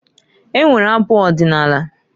E nwere abụ ọdịnaala.